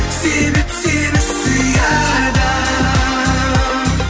себеп сені сүйеді